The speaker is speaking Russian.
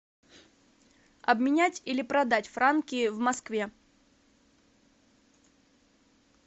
обменять или продать франки в москве